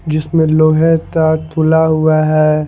जिसमें लोहे का खुला हुआ है।